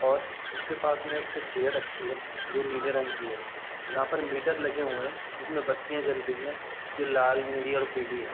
और उसके पास में एक चेयर रखी है जो नीले रंग की है जहाँ पर मीटर लगे हुए हैं जिसमें बत्तियां जल रही है जो लाल नीली और पीली है।